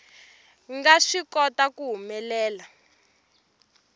nga swi kota ku humelela